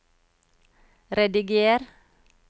rediger